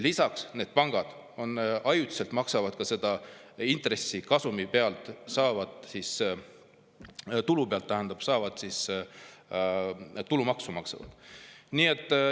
Lisaks maksavad pangad ajutiselt tulumaksu intressikasumi pealt saadavalt tulult.